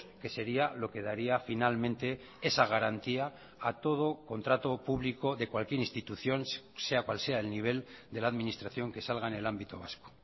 que sería lo que daría finalmente esa garantía a todo contrato público de cualquier institución sea cual sea el nivel de la administración que salga en el ámbito vasco